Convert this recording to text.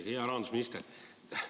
Hea rahandusminister!